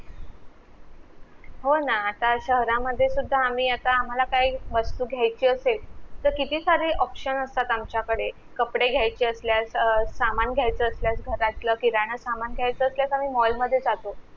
हो ना आता शहरामधे सुद्धा आम्ही आता आम्हाला काय वस्तू घेयची असेल किती सारे option असतात आमच्या कडे कपडे घेयची असल्यास अं सामान घेयचा असल्यास घरातलं किराणा सामान घेयचं असल्यास आम्ही mall मधे जाते